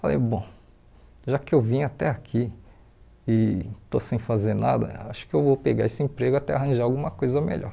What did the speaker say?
Falei, bom, já que eu vim até aqui e estou sem fazer nada, acho que eu vou pegar esse emprego até arranjar alguma coisa melhor.